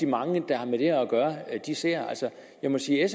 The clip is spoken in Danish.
mange der har med det her at gøre ser jeg må sige at